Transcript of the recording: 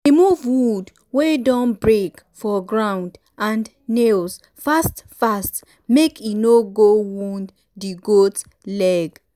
remove wood wey don um break for ground and nails um fast fast make e no go wound di goat leg. um